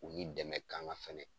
U ni dɛmɛ kanga fɛnɛ.